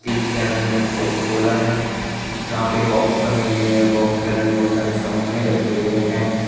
Fridge के अंदर Coca Cola है यहां पे बॉक्स बनी हुई है बॉक्स के अंदर बहुत सारे सामाने रखे हुए हैं।